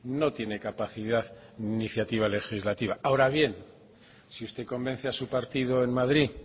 no tiene capacidad ni iniciativa legislativa ahora bien si usted convence a su partido en madrid